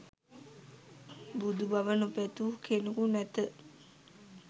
බුදු බව නොපැතු කෙනෙකු නැත.